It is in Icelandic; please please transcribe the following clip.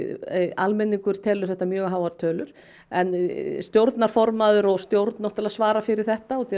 almenningur telur þetta mjög háar tölur en stjórnarformaður og stjórn náttúrulega svara fyrir þetta út